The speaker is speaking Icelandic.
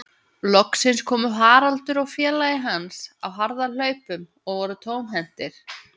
Loksins komu Haraldur og félagi hans á harðahlaupum og voru tómhentir.